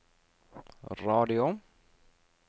radio